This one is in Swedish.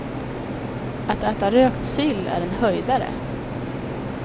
Att äta rökt sill är en höjdare.